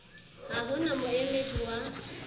ha ho na moemedi wa